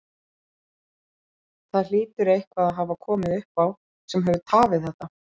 Það hlýtur eitthvað að hafa komið upp á sem hefur tafið þetta?